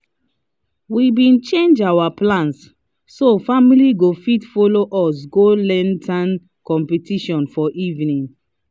we been change our plans so family go fit follow us go lantern competition for evening